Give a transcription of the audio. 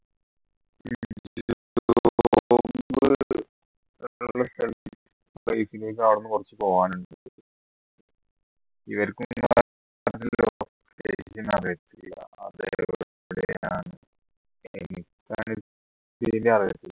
അവിടുന്ന് കുറച്ചു പോകാനുണ്ട്